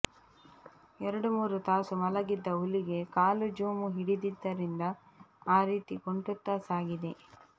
ಎರಡು ಮೂರು ತಾಸು ಮಲಗಿದ್ದ ಹುಲಿಗೆ ಕಾಲು ಜೋಮು ಹಿಡಿದಿದ್ದರಿಂದ ಆ ರೀತಿ ಕುಂಟುತ್ತಾ ಸಾಗಿದೆ